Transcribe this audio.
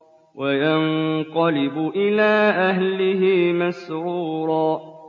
وَيَنقَلِبُ إِلَىٰ أَهْلِهِ مَسْرُورًا